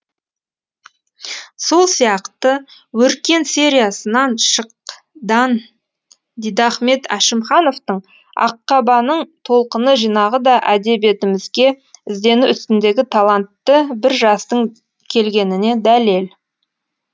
сол сияқты өркен сериясынан шыкдан дидахмет әшімхановтың аққабаның толқыны жинағы да әдебиетімізге іздену үстіндегі талантты бір жастың келгеніне дәлел